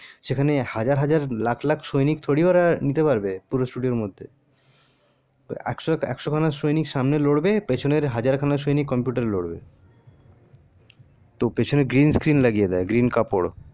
সেখানে হাজার হাজার lakh lakh সৈনিক ওরা থোড়ি নিতে পারবে পুরো studio এর মধ্যে একশো খানা সৈনিক সামনে লড়বে আর পিছনে ওরা হাজার খান সৈনিক computer লড়বে তো পিছনে green skin লাগিয়ে দেয় green কাপড়